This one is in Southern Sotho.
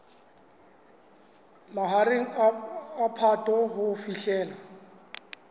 mahareng a phato ho fihlela